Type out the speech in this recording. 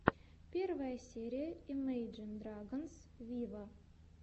первая серия имейджин драгонс виво